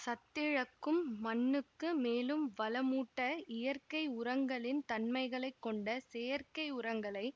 சத்திழக்கும் மண்ணுக்கு மேலும் வளமூட்ட இயற்கை உரங்களின் தன்மைகளைக் கொண்ட செயற்கை உரங்களை